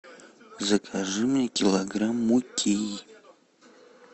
закажи мне килограмм муки